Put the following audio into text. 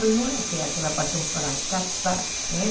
Mas não era aquela aquela paixão para casar, né?